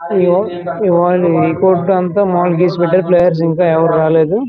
ఇవాళ ఇంకో ప్రాంతం చాలా ప్లేయర్స్ ఎవరూ రాలేదు.